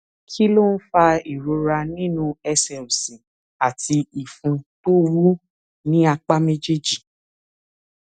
kí ló ń fa ìrora nínú ẹsè òsì àti ìfun tó wú ní apá méjèèjì